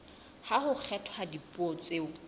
ha ho kgethwa dipuo tseo